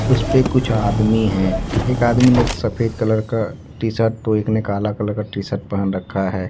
उसेपे कुछ आदमी है एक आदमी ने एक सफेद कलर का टी शर्ट तो एक ने काला कलर का टी शर्ट पहन रखा है।